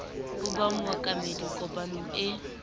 ho ba mookamedi kopanong e